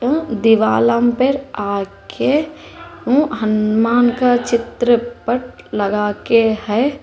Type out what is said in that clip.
दिवालंप पर आके हनुमान का चित्र पट लगाकर है।